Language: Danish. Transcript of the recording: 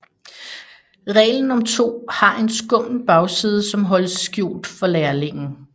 Reglen om to har en skummel bagside som holdes skjult for lærlingen